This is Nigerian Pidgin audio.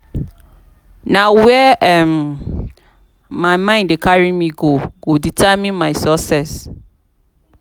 na where um my mind dey carry me go go determine my success.